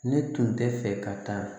Ne tun tɛ fɛ ka taa